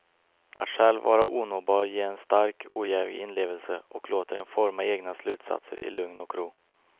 Att själv vara onåbar ger en stark, ojävig inlevelse och låter en forma egna slutsatser i lugn och ro.